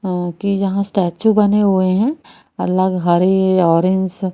अ की जहां स्टैचू बने हुए है अलग हरे ऑरेंज --